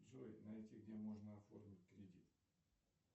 джой найти где можно оформить кредит